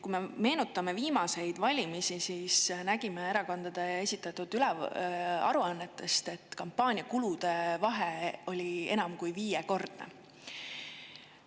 Kui me meenutame viimaseid valimisi, siis nägime erakondade esitatud aruannetest, et kampaaniakulude vahe oli enam kui viiekordne.